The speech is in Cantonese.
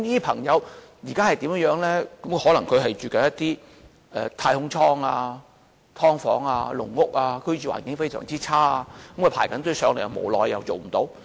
他們可能住在一些"太空艙"、"劏房"、"籠屋"，居住環境非常差，正在輪候公屋，無奈卻輪候不到。